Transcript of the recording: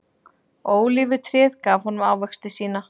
Ólífutréð gaf honum ávexti sína.